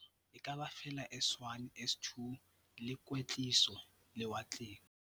dikepe ha ho hloke hore motho a be le kgau ya thuto, ekaba feela S1, S2 le kwetliso lewatleng.